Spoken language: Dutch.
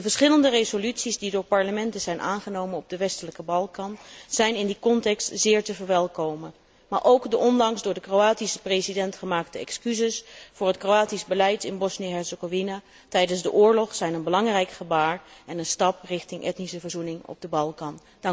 De verschillende resoluties die door parlementen zijn aangenomen op de westelijke Balkan, zijn in die context zeer te verwelkomen, maar ook de onlangs door de Kroatische president gemaakte excuses voor het Kroatisch beleid in Bosnië Herzegovina tijdens de oorlog zijn een belangrijk gebaar en een stap naar etnische verzoening op de Balkan.